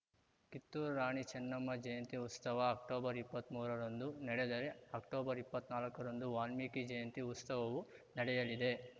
ಕಿತ್ತೂರು ರಾಣಿ ಚೆನ್ನಮ್ಮ ಜಯಂತಿ ಉಸ್ತವ ಅಕ್ಟೊಬರ್ಇಪ್ಪತ್ಮುರರಂದು ನಡೆದರೆ ಅಕ್ಟೊಬರ್ಇಪ್ಪತ್ನಾಕರಂದು ವಾಲ್ಮೀಕಿ ಜಯಂತಿ ಉಸ್ತವವು ನಡೆಯಲಿದೆ